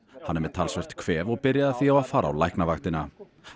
hann er með talsvert kvef og byrjaði því á að fara á Læknavaktina